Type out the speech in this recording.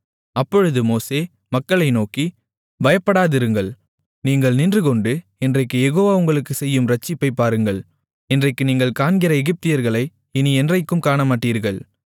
அப்பொழுது மோசே மக்களை நோக்கி பயப்படாதிருங்கள் நீங்கள் நின்றுகொண்டு இன்றைக்குக் யெகோவா உங்களுக்குச் செய்யும் இரட்சிப்பைப் பாருங்கள் இன்றைக்கு நீங்கள் காண்கிற எகிப்தியர்களை இனி என்றைக்கும் காணமாட்டீர்கள்